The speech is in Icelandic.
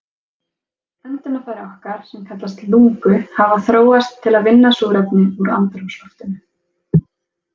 Öndunarfæri okkar, sem kallast lungu, hafa þróast til að vinna súrefni úr andrúmsloftinu.